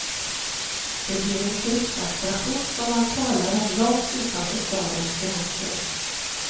Det blir en turistattraktion som man talar om långt utanför stadens gränser.